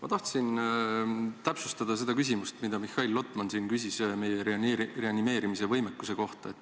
Ma tahtsin täpsustada seda küsimust, mille Mihhail Lotman esitas meie reanimeerimise võimekuse kohta.